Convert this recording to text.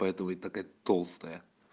поэтому и такая толстая